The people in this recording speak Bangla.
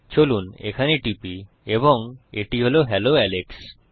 চলুন এখানে টিপি এবং এটি হল হেলো আলেক্স